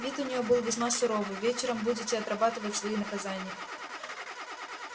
вид у неё был весьма суровый вечером будете отрабатывать свои наказания